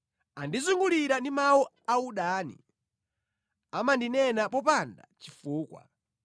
Andizungulira ndi mawu audani, amandinena popanda chifukwa.